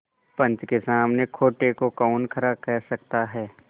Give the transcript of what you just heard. पंच के सामने खोटे को कौन खरा कह सकता है